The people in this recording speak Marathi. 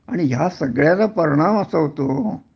आणि ह्या सगळ्याचा परिणाम असा होतो